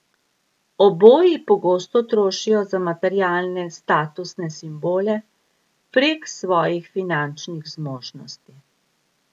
Oboji pogosto trošijo za materialne statusne simbole prek svojih finančnih zmožnosti.